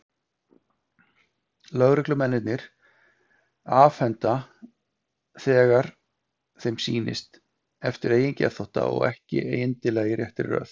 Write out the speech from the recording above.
Lögreglumennirnir afhenda þau þegar þeim sýnist, eftir eigin geðþótta, og ekki endilega í réttri röð.